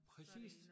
Præcis